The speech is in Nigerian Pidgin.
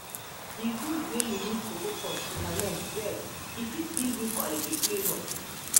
e good wey you leave cocoa pods to ferment well so e fit give you quality flavour.